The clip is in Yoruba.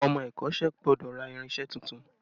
Ọmọ ẹ̀kọ́sẹ́ gbọ́dọ̀ ra irinse tuntun